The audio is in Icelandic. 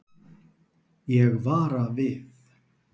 Ég vara við.